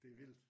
Det er vildt